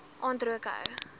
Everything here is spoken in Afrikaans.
aand rook hou